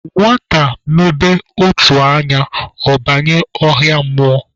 Nwata mebe ụtụ anya, ọ banye ọhịa mmụọ